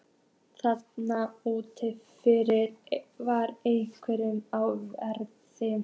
Þar úti fyrir var enginn á verði.